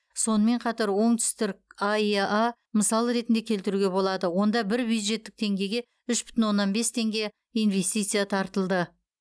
сонымен қатар оңтүстірк аэа мысал ретінде келтіруге болады онда бір бюджеттік теңгеге үш бүтін оннан бес теңге инвестиция тартылды